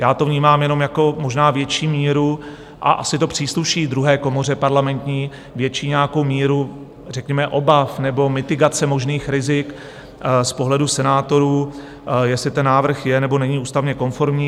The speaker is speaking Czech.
Já to vnímám jenom jako možná větší míru, a asi to přísluší druhé komoře parlamentní, větší nějakou míru řekněme obav nebo mitigace možných rizik z pohledu senátorů, jestli ten návrh je, nebo není ústavně konformní.